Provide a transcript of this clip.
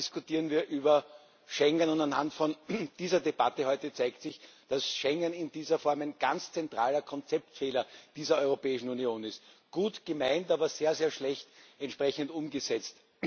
Wieder einmal diskutieren wir über Schengen, und anhand dieser Debatte heute zeigt sich, dass Schengen in dieser Form ein ganz zentraler Konzeptfehler der Europäischen Union ist gut gemeint, aber sehr, sehr schlecht entsprechend umgesetzt.